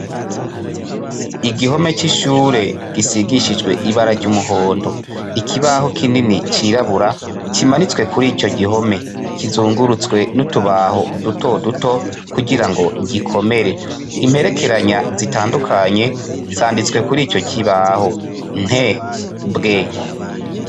Igihome c'ishure gisigishijwe ibara ry'umuhondo ibaho kinini cirabura kimanitse kuri ico gihome kizungurutswe n' utubaho duto duto kugira ngo gikomere imperekeranya zitandukanye zanditswe kuri ico kibaho Nt , bw.